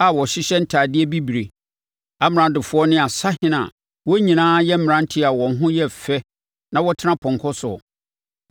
a wɔhyehyɛ ntadeɛ bibire, amradofoɔ ne asahene a wɔn nyinaa yɛ mmeranteɛ a wɔn ho yɛ fɛ na wɔtena apɔnkɔ soɔ.